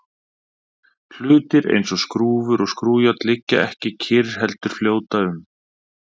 Hlutir eins og skrúfur og skrúfjárn liggja ekki kyrr heldur fljóta um.